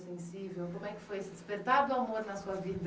sensível. Como é que foi esse despertar do amor na sua vida?